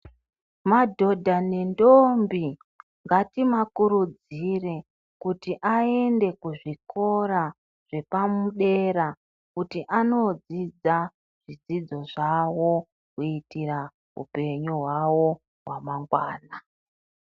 Madhodha nendombi, ngatimakurudzire kuti aende kuzvikora zvepamudera kuti anodzidza zvidzidzo zvawo kuitira upenyu hwawo hwamangwana.